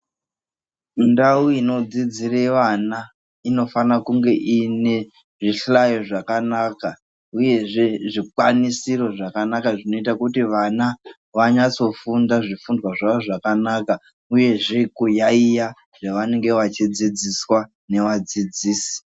Ndau inodzidzire vana inofanira kunge ine zvihlayo zvakanaka uyezve zvikwanisiro zvakanaka zvinoita kuti vana vanyatsofunda zvifundwa zvavo zvakanaka uyezve kuyaiya zvavanenge vachidzidziswa nevadzidzisi.